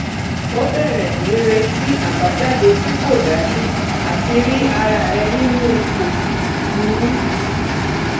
o bẹrẹ ní retí àbájáde tí kò dájú àti rí ara rẹ nínú ipò burú